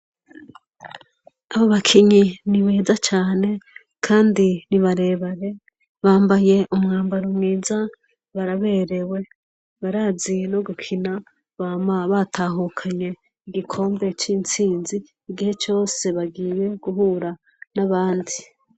Abo bakinyi nibeza cane kandi ni barebare bambaye umwambaro mwiza baraberewe, barazi no gukina bama batahukanye igikombe c'intsinzi igihe cose bagiye guhura n'abandi.